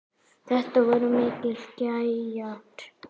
Þetta voru miklir gæjar.